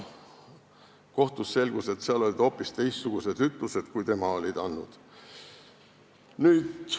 Kohtus aga selgus, et seal olid hoopis teistsugused ütlused kui need, mis tunnistaja oli andnud.